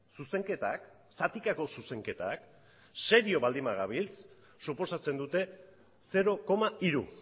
zuzenketak zatikako zuzenketak serio baldin bagabiltza suposatzen dute zero koma hiru